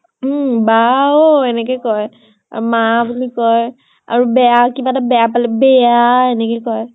উম । বা অʼ এনেকে কয় । মা বুলি কয় । আৰু বেয়া কিবা এটা বেয়া পালে বে - এ - য়া এনেকে কয় ।